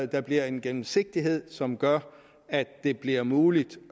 der bliver en gennemsigtighed som gør at det bliver muligt